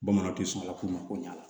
Bamananw tɛ sɔn ala ko ma ko ɲ'a la